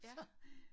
Ja